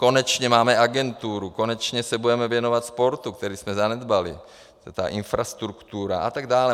Konečně máme agenturu, konečně se budeme věnovat sportu, který jsme zanedbali, ta infrastruktura a tak dále.